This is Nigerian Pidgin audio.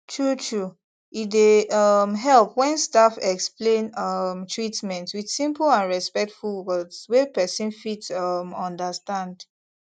truetrue e dey um help when staff explain um treatment with simple and respectful words wey person fit um understand